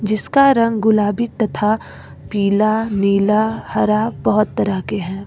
जिसका रंग गुलाबी तथा पीला नीला हरा बहोत तरह के हैं।